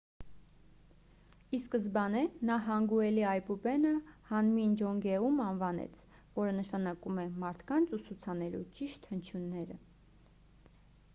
ի սկզբանե նա հանգուելի այբուբենը հանմին ջոնգեում անվանեց որը նշանակում է մարդկանց ուսուցանելու ճիշտ հնչյունները